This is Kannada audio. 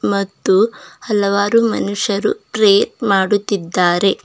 ಮತ್ತು ಹಲವಾರು ಮನುಷ್ಯರು ಪ್ರೇ ಮಾಡುತ್ತಿದ್ದಾರೆ.